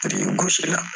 Birikigosi la